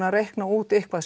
að reikna út eitthvað